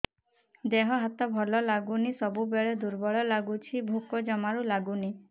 ଦେହ ହାତ ଭଲ ଲାଗୁନି ସବୁବେଳେ ଦୁର୍ବଳ ଲାଗୁଛି ଭୋକ ଜମାରୁ ଲାଗୁନି